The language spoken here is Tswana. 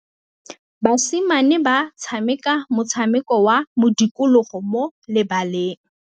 Basimane ba tshameka motshameko wa modikologô mo lebaleng.